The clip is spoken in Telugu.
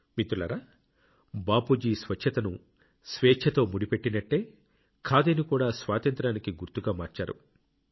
మిత్రులారా బాపూజీ స్వచ్ఛతను స్వేచ్ఛతో ముడిపెట్టినట్టే ఖాదీని కూడా స్వాతంత్ర్యానికి గుర్తుగా మార్చారు